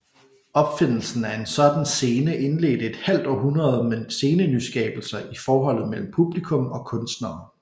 Opfindelsen af en sådan scene indledte et halvt århundrede med scenenyskabelser i forholdet mellem publikum og kunstnere